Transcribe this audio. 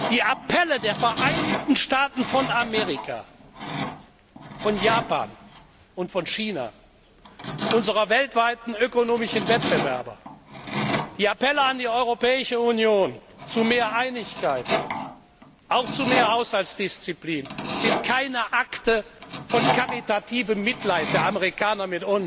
Die Appelle der Vereinigten Staaten von Amerika, Japans und Chinas, unserer weltweiten ökonomischen Wettbewerber, die Appelle an die Europäische Union zu mehr Einigkeit, auch zu mehr Haushaltsdisziplin, sind keine Akte von karitativem Mitleid der Amerikaner